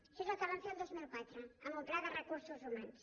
això és el que vam fer el dos mil quatre amb un pla de recursos humans